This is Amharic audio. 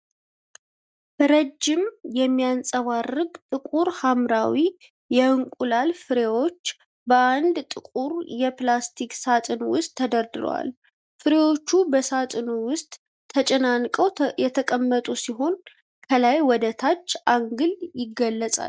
ረጅም፣ የሚያብረቀርቅ ጥቁር ሐምራዊ የእንቁላል ፍሬዎች በአንድ ጥቁር የፕላስቲክ ሣጥን ውስጥ ተደርድረዋል። ፍሬዎቹ በሳጥኑ ውስጥ ተጨናንቀው የተቀመጡ ሲሆን ከላይ ወደ ታች አንግል ይገለጻል።